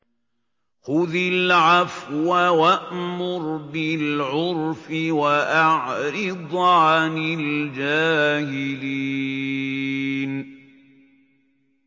خُذِ الْعَفْوَ وَأْمُرْ بِالْعُرْفِ وَأَعْرِضْ عَنِ الْجَاهِلِينَ